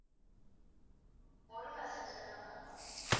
ஒரு passenger க்கா ma'am